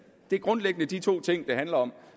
det er grundlæggende de to ting det handler om